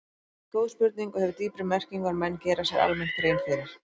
Þetta er góð spurning og hefur dýpri merkingu en menn gera sér almennt grein fyrir.